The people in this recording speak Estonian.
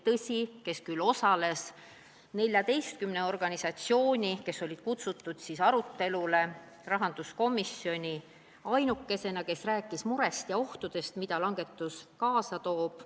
Tõsi, 14 asutusest-organisatsioonist, kelle esindajad olid rahanduskomisjoni arutelule kutsutud, oli arstide liit ainuke, kes rääkis murest ja ohtudest, mida aktsiisilangetus kaasa toob.